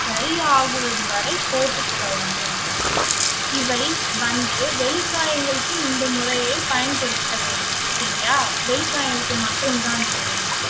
சரியாகுவது வரை போட்டுக் கொள்ளலாம் பிரதீபநாதன். இவை வந்து வெளிக்காயங்களுக்கு இந்த முறையை பயன்படுத்தவேண்டும். சரியா வெளிக்காயங்களுக்கு மட்டும் தான் இவை வந்து